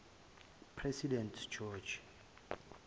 president george